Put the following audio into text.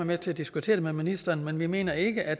med til at diskutere det med ministeren men vi mener ikke at